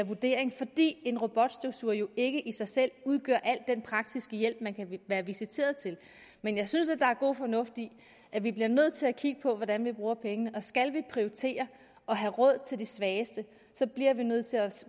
vurdering fordi en robotstøvsuger jo ikke i sig selv udgør al den praktiske hjælp man kan være visiteret til men jeg synes der er god fornuft i at vi bliver nødt til at kigge på hvordan vi bruger pengene og skal vi prioritere og have råd til de svageste bliver vi nødt til at